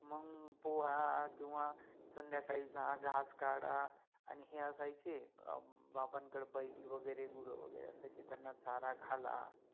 मंग पोवा किव्वा संध्याकाळि जा घास काढा आणि हे असायचे, बाबांकडे बैल वगेरे गुर वगेरे असायचे त्याना चारा घाला